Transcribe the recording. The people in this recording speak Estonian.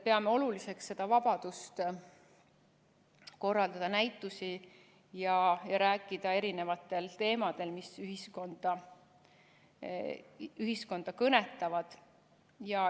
Peame oluliseks vabadust korraldada näitusi ja rääkida erinevatel teemadel, mis ühiskonda kõnetavad.